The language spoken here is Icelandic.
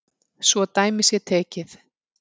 Svo dæmi sé tekið.